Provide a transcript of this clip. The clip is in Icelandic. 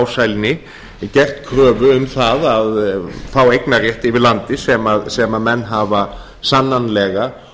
ásælni gert kröfu um það að fá eignarrétt yfir landi sem menn hafa sannanlega